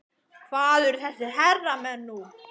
Hvar eru þessir herramenn nú?